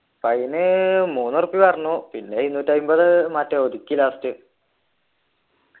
fine മൂന്ന് ഉറുപിയാ പറഞ്ഞു പിന്നെ ഇരുനൂറ്റി അമ്പത് മറ്റേ ഒതുക്കി last